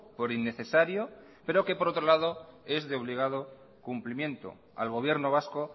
por innecesario pero que por otro lado es de obligado cumplimiento al gobierno vasco